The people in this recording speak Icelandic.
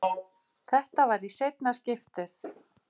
Þetta var í seinna skiptið.